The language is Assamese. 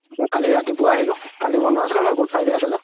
but কালি ৰাতিপুৱা আহিলো কালি বন্ধো আছিলে ন good friday আছিলে